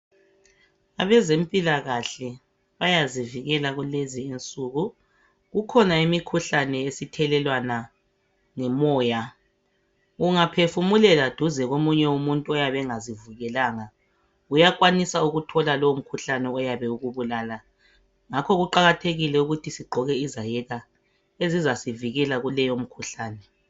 Abezempilakahle bayazivikela kulezinsuku kukhona imikhuhlane esithelelwana ngomoya. Ungaphefumulela duze komunye umuntu oyabe engazivikelanga uyakwanisa ukuthola lowomkhuhlane iyabe ukubulala. Ngakho kuqakathekile ukuthi sigqoke izayeka ezizasivikela kuleyomikhuhlane.